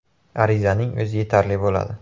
Arizaning o‘zi yetarli bo‘ladi.